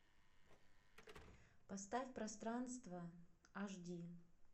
поставь пространство аш ди